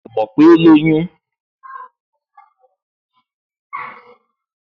Mi ò mọ̀ pé ó lóyún